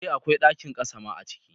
Eh akwai ɗakin ƙasa ma a ciki